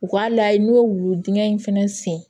U k'a layɛ n'u ye wulu dingɛ in fana sen